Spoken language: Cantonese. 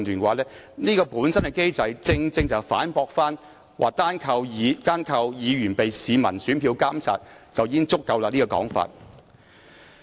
這項機制本身正正反駁了單靠市民以選票監察議員便已足夠的說法。